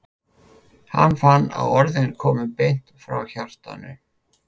Hann fann að orðin komu beint frá hjartanu.